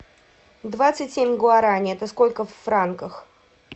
двадцать семь гуарани это сколько в франках